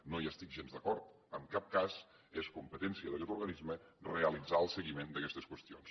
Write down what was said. no hi estic gens d’acord en cap cas és competència d’aguest organisme realitzar el seguiment d’aguestes qüestions